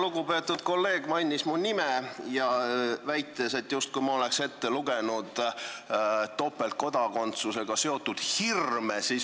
Lugupeetud kolleeg mainis mu nime, väites, justkui ma oleks ette lugenud topeltkodakondsusega seotud hirme.